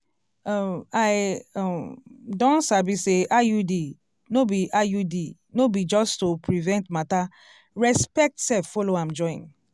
um i um don sabi say iud no be iud no be just to prevent matter respect sef follow am join. um